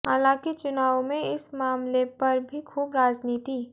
हालांकि चुनावों में इस मामले पर भी खूब राजनिति